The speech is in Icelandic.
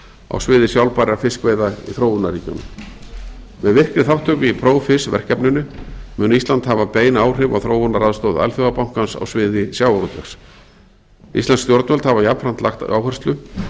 á sviði sjálfbærra fiskveiða í þróunarríkjunum með virkri þátttöku í profish verkefninu mun ísland hafa bein áhrif á þróunaraðstoð alþjóðabankans á sviði sjávarútvegs íslensk stjórnvöld hafa jafnframt lagt áherslu